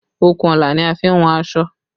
Okùnọlà ni a fi n wọn aṣọ